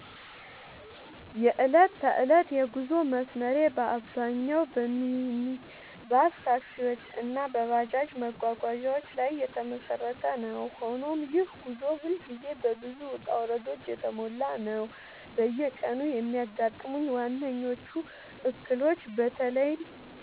የዕለት ተዕለት የጉዞ መስመሬ በአብዛኛው በሚኒባስ ታክሲዎች እና በባጃጅ መጓጓዣዎች ላይ የተመሰረተ ነው፤ ሆኖም ይህ ጉዞ ሁልጊዜ በብዙ ውጣ ውረዶች የተሞላ ነው። በየቀኑ የሚያጋጥሙኝ ዋነኞቹ እክሎች በተለይም